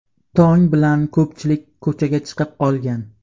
Tong bilan ko‘pchilik ko‘chaga chiqib olgan.